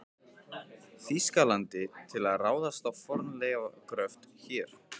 Þýskalandi til að ráðast í fornleifagröft hér.